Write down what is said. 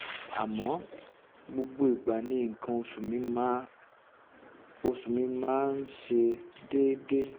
àmọ́ gbogbo ìgbà ni nǹkan oṣù mi máa oṣù mi máa um ń um ṣe déédé